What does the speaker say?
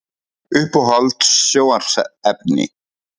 Uppáhalds sjónvarpsefni?